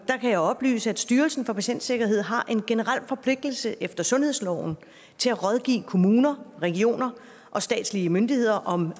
kan jeg oplyse at styrelsen for patientsikkerhed har en generel forpligtelse efter sundhedsloven til at rådgive kommuner regioner og statslige myndigheder om